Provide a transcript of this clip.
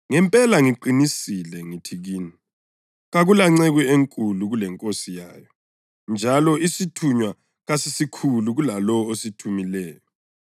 Ngempela ngiqinisile ngithi kini kakulanceku enkulu kulenkosi yayo, njalo isithunywa kasisikhulu kulalowo osithumileyo.